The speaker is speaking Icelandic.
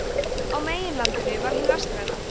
á meginlandinu var hin vestræna